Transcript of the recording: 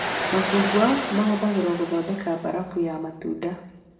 Macungwa mahũthagĩrwo gũthondeka mbarabu ya matunda